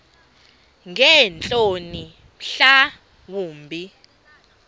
ngeentloni mhla wumbi